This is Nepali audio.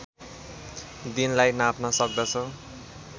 दिनलाई नाप्न सक्दछ